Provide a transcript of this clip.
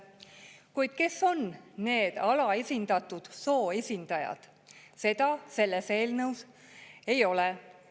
Kuid kes on need alaesindatud soo esindajad, seda selles eelnõus ei ole.